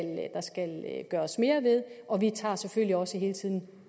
gøres mere ved og vi tager selvfølgelig også hele tiden